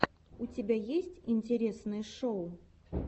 у тебя есть интересные шоу